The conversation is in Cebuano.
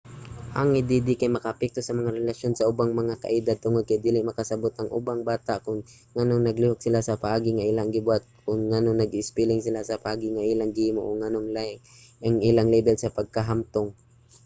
ang add kay makaapekto sa mga relasyon sa ubang mga kaedad tungod kay dili makasabot ang ubang bata kon nganong naglihok sila sa paagi nga ilang gibuhat o kon nganong nag-espeling sila sa paagi nga ilang gihimo o nganong lahi ang ilang lebel sa pagkahamtong